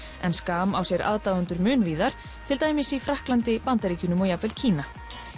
en Skam á sér aðdáendur mun víðar til dæmis í Frakklandi Bandaríkjunum og jafnvel Kína